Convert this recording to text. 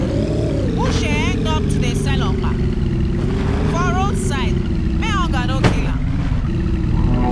uche end up to dey sell okpa for roadside make hunger no kill her.